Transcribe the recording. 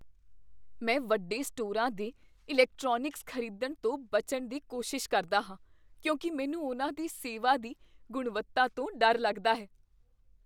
ਮੈਂ ਵੱਡੇ ਸਟੋਰਾਂ 'ਤੇ ਇਲੈਕਟ੍ਰੋਨਿਕਸ ਖ਼ਰੀਦਣ ਤੋਂ ਬਚਣ ਦੀ ਕੋਸ਼ਿਸ਼ ਕਰਦਾ ਹਾਂ ਕਿਉਂਕਿ ਮੈਨੂੰ ਉਨ੍ਹਾਂ ਦੀ ਸੇਵਾ ਦੀ ਗੁਣਵੱਤਾ ਤੋਂ ਡਰ ਲੱਗਦਾ ਹੈ।